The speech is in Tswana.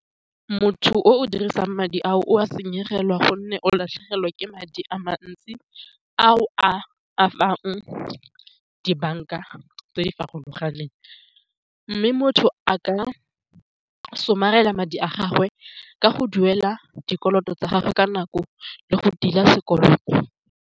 Motho o o dirisang madi a o a senyegelwa gonne o latlhegelwa ke madi a mantsi a o a fang dibanka tse di farologaneng, mme motho a ka somarela madi a gagwe ka go duela dikoloto tsa gago ka nako le go tila sekolo.